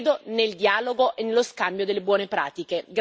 Credo nel dialogo e nello scambio delle buone pratiche.